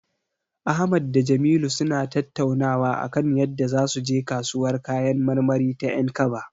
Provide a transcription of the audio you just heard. Ahmad da Jamilu suna tattaunawa akan yadda zasu je kasuwar kayan marmari ta 'Yankaba.